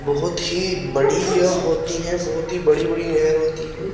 बहुत ही बड़ी होती है बहुत ही बड़ी-बड़ी नहर होती है।